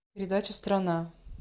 передача страна